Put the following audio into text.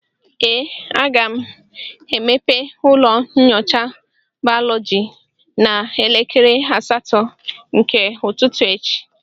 ee, aga m emepe ụlọ nyocha bayọlọji n'elekere asatọ nke ụtụtụ echi